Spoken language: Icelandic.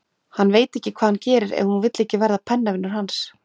Hann veit ekki hvað hann gerir ef hún vill ekki verða pennavinur hans.